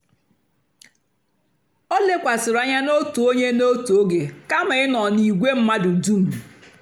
o lèkwàsị̀rị́ ànyá n'otù ònyè n'otù ógè kàma ị̀ nọ́ n'ìgwè mmadụ́ dùm.